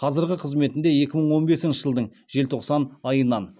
қазіргі қызметінде екі мың он бесінші жылдың желтоқсан айынан